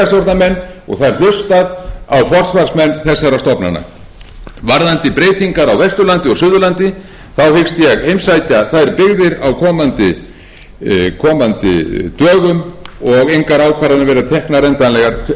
það er hlustað á sveitarstjórnarmenn og það er hlustað á forsvarsmenn þessara stofnana varðandi breytingar á vesturlandi og suðurlandi þá hyggst ég heimsækja þær byggðir á komandi dögum og engar ákvarðanir verið teknar endanlega fyrr en að loknum þeim